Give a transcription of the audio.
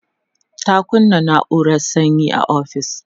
ta kunna naurar sanyi a ofis